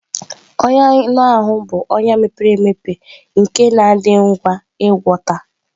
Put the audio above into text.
Ọnya anụ ahụ bụ ọnya mepere emepe nke na-adị ngwa ịgwọta.